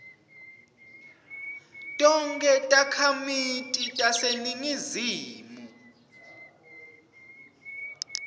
tonkhe takhamiti taseningizimu